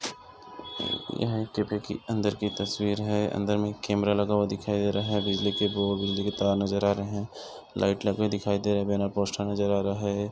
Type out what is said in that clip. यहाँ एक कैफ़े की अंदर की तस्वीर है अंदर में कैमरा लगा हुआ दिखाई दे रहा है बिजली के बोर्ड बिजली के तार नज़र आ रहे है लाइट लगे हुए दिखाई दे रहे है बैनर पोस्टर नज़र आ रहा है।